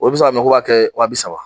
O bi se ka minɛ k'u b'a kɛ wa bi saba